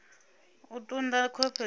u ṱun ḓa khovhe dza